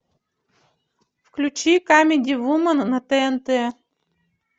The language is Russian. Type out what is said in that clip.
включи камеди вумен на тнт